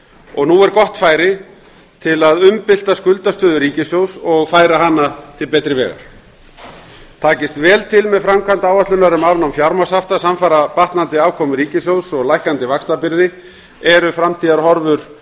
og nú er gott færi til að umbylta skuldastöðu ríkissjóðs og færa hana til betri vegar takist vel til með framkvæmd áætlunar um afnám fjármagnshafta samfara batnandi afkomu ríkissjóðs og lækkandi vaxtabyrði eru framtíðarhorfur